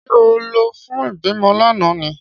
Ṣé ó lọ fún ìbímọ lánàá ni?